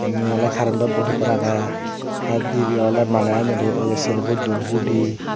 indi oley karento bod ekkan agey tey dibey oley maneh enyeuri ye serbo don hudi.